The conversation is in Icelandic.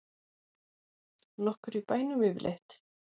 Nokkur í bænum yfirleitt?